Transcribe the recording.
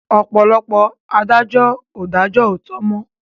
Ọ̀pọ̀lọpọ̀ adájọ́ ò dájó òòtó mọ́.